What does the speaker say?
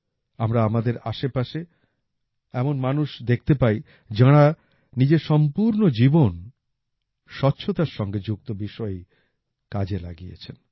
আমরা আমাদের আশেপাশে এমন মানুষ দেখতে পাই যাঁরা নিজের সম্পূর্ণ জীবন স্বচ্ছতার সঙ্গে যুক্ত বিষয়েই কাজে লাগিয়েছেন